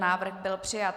Návrh byl přijat.